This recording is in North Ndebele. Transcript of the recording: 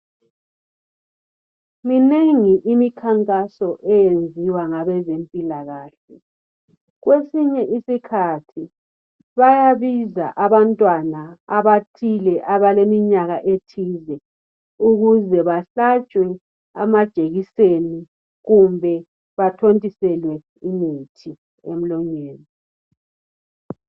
Minengi imikankaso eyenziwa ngabezempila kahle. Kwesinye isikhathi bayabiza abantwana abathile, abaleminyaka ethize ukuze bahlatshwe amajekiseni kumbe bathontiselwe imithi emlonyeni.